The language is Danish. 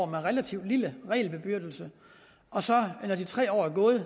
en relativt lille regelbyrde og så når de tre år er gået